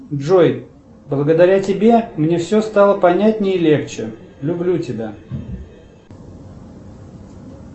джой благодаря тебе мне все стало понятней и легче люблю тебя